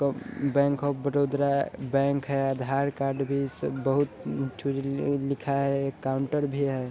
तो bank of बड़ोदरा bank है| आधार कार्ड भी इससे बहुत लिखा है काउन्टर भी है।